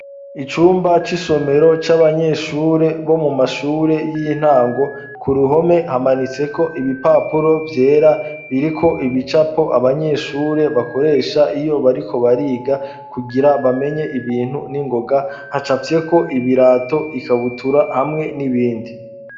Icumba c'isomero c'abanyeshure bo mu mashure y'intango ku ruhome hamanitseko ibipapuro vyera biriko ibicapo abanyeshure bakoresha iyo bariko bariga kugira bamenye ibintu n'ingoga hacavyeko ibirato ikabutura hamwe n'ibindi.